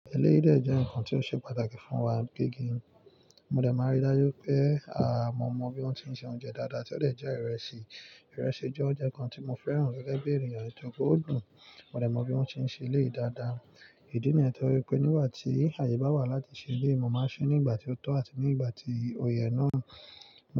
Éleyii dè jẹ́ ǹkan tí ó ṣe pàtàkì fún wa gẹ́gẹ́ mo dẹ̀ máa n rí dájú pé mo mọ bí wọ́n ti ń se oúnjẹ dáadáa tí ó de jẹ́ ìrẹsì. Ìrẹsì jẹ́ oúnjẹ kan tí mo fẹ́ràn gẹ́gẹ́ bí ènìyàn nítorí pe ó dùn. Mo dẹ̀ mọ bí wọ́n se ń ṣe eleyii dáadáa. Ìdí nìyẹn torí pé nígbà tí àyè bá wà láti ṣe eleyii, mo máa ṣe é nígbà tí ó tó àti ní igbà tí ò ye náà.